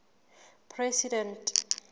president